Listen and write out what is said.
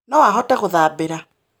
No ahote gũthambĩra